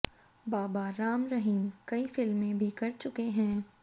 बाबा राम रहीम कई फिल्में भी कर चुके हैं